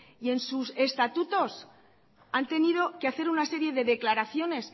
y en sus estatutos han tenido que hacer una serie de declaraciones